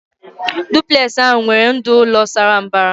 Duplex ahụ nwere ndụ ụlọ Sara mbara